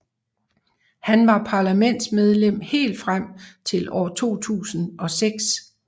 Han var parlamentsmedlem helt frem til år 2006